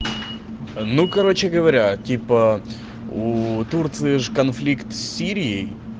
ну короче говоря типа уу турции же конфликт с сирией